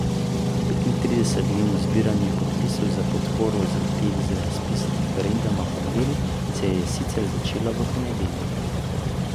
Petintridesetdnevno zbiranje podpisov za podporo zahtevi za razpis referenduma o noveli se je sicer začelo v ponedeljek.